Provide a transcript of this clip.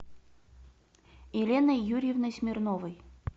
еленой юрьевной смирновой